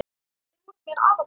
Þau voru mér afar góð.